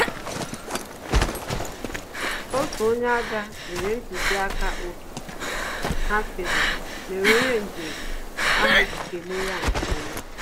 Otu onye agha nyere ntụziaka otu ha si aga, mere onye njem ahụ ji kele ya nkeọma